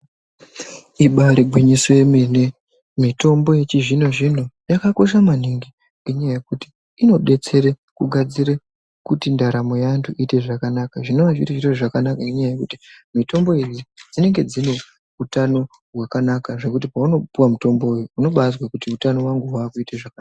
Ibaari gwinyiso yemene mitombo yechizvino-zvino yakakosha maningi ngenyaya yekuti inodetsere kugadzire kuti ndaramo yeantu iite zvakanaka. Zvinova zviri zviro zvakanaka nenyaya yekuti mitombo idzi dzinenge dzine utano hwakanaka zvekuti paunopuwa mutombo uyu unobaazwe kuti utano wangu waakuite zvaka...